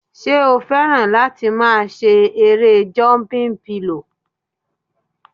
Ṣé o fẹ́ràn láti máa ṣe erée jọmpin pilò?